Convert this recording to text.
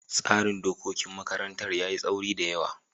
tsarin da dokokin makarantar yayi taauri da yawa.